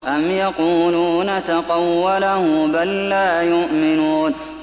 أَمْ يَقُولُونَ تَقَوَّلَهُ ۚ بَل لَّا يُؤْمِنُونَ